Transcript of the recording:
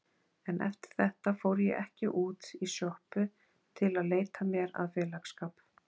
En eftir þetta fór ég ekki út í sjoppu til að leita mér að félagsskap.